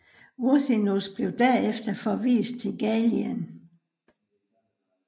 Ursinus blev derefter forvist til Gallien